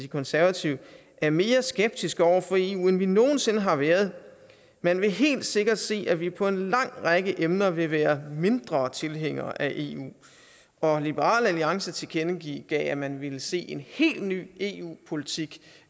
konservative er mere skeptiske over for eu end vi nogen sinde har været man vil helt sikkert se at vi på en lang række emner vil være mindre tilhængere af eu og liberal alliance tilkendegav at man ville se en helt ny eu politik